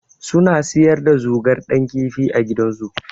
Suna siyar da zogar Dan kifi a gidansu.